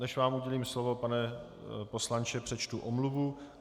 Než vám udělím slovo, pane poslanče, přečtu omluvu.